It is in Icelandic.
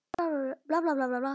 Til elsku Gunnu minnar.